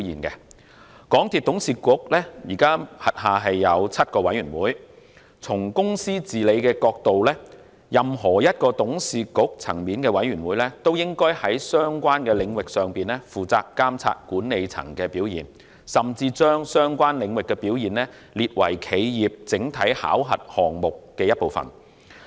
港鐵公司董事局現時轄下有7個委員會，從公司治理的角度看，任何董事局層面的委員會均應在相關的領域上負責監察管理層的表現，甚至把相關領域的表現列為企業整體考核項目的一部分。